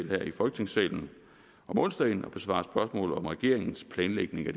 her i folketingssalen om onsdagen for at besvare spørgsmål om regeringens planlægning af